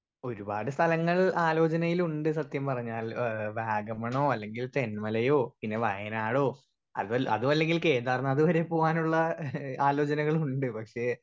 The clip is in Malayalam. സ്പീക്കർ 1 ഒരുപാട് സ്ഥലങ്ങൾ ആലോജനയിലുണ്ട് സത്യം പറഞ്ഞാൽ ഏഹ് വാഗമണോ അല്ലെങ്കിൽ തെന്മലയോ പിന്നെ വായനാഡോ അതു അതുല്ലെങ്കിൽ കേന്ദ്ര നാഥ്‌ വരെ പോവാനുള്ള ഏഹ് ആലോജനകളുണ്ട് പക്ഷെ